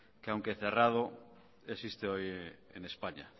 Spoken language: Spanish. que aunque cerrado existe hoy en españa